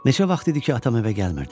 Neçə vaxt idi ki atam evə gəlmirdi.